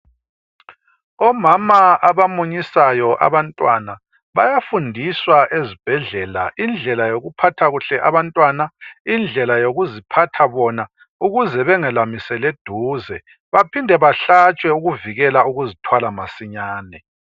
omama abamunyisayo abantwana bayafundiswa esibhedlela indlela yokuphatha kuhle abantwanana indlela yokuziphatha bona ukuze bengayelamisani eduze bephinde bahlatshwe ukuzithwala masinyane